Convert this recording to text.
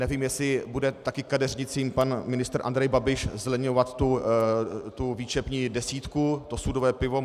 Nevím, jestli bude taky kadeřnicím pan ministr Andrej Babiš zlevňovat tu výčepní desítku, to sudové pivo.